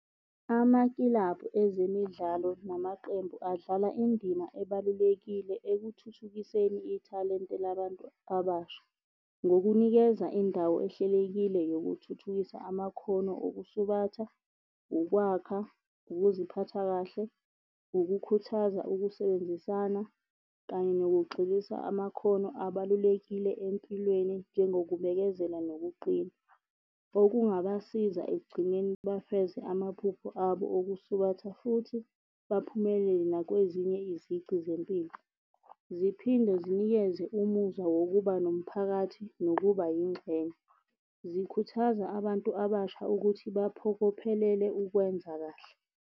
Amakilabhu ezemidlalo namaqembu adlala indima ebalulekile ekuthuthukiseni ithalente labantu abasha ngokunikeza indawo ehlelekile yokuthuthukisa amakhono okusubatha, ukwakha, ukuziphatha kahle, ukukhuthaza ukusebenzisana, kanye nokugxilisa amakhono abalulekile empilweni njengokubekezela nokuqina. Okungabasiza ekugcineni bafeze amaphupho abo okusubatha, futhi baphumelele nakwezinye izici zempilo. Ziphinde zinikeze umuzwa wokuba nomphakathi nokuba yingxenye. Zikhuthaza abantu abasha ukuthi baphokophelele ukwenza kahle.